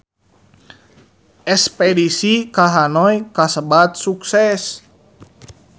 Espedisi ka Hanoi kasebat sukses